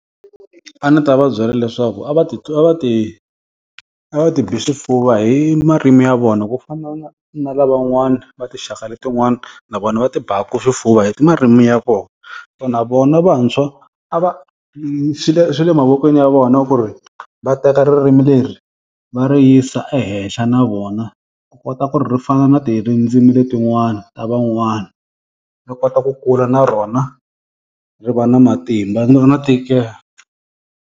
A ndzi ta va byela leswaku a va ti va ti, a va ti bi swifuva hi marimi ya vona ku fana na na lavan'wana va tinxaka letin'wana na vona va tiaka xifuva hi marimi ya vona. Na vona vantshwa a va swi le swi le mavokweni ya vona ku ri va teka ririmi leri va ri yisa ehenhla na vona, ku kota ku ri ri fana na rindzimi letin'wana ta van'wana. Ri kota ku kula na rona, ri va na matimba ri va na ntikelo.